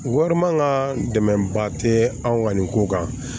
Wari man ka dɛmɛ ba tɛ anw ka nin ko kan